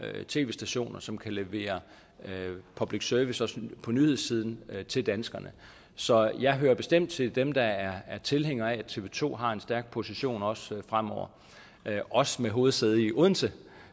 tv stationer som kan levere public service på nyhedssiden til danskerne så jeg hører bestemt til dem der er tilhænger af at tv to har en stærk position også fremover også med hovedsæde i odense